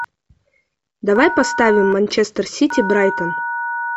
давай поставим манчестер сити брайтон